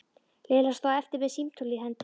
Lilla stóð eftir með símtólið í hendinni.